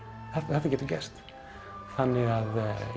þetta getur gerst þannig að